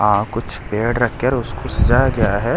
आ कुछ पेड़ रखकर उसको सजाया गया है ।